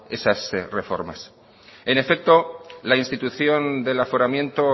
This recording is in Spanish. esas reformas en efecto la institución del aforamiento